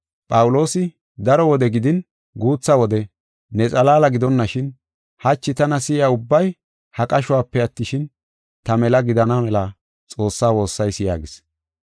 Phawuloosi, “Daro wode gidin guutha wode ne xalaala gidonashin hachi tana si7iya ubbay ha qashuwape attishin, ta mela gidana mela Xoossaa woossayis” yaagis.